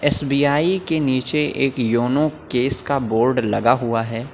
SBI के नीचे एक योन केस का बोर्ड लगा हुआ है।